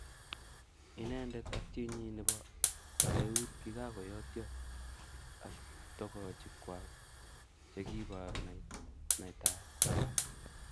Inendet ak chinyi nebo eut kokikakoyotyo ak togochik Kwak chekiiboru naitaet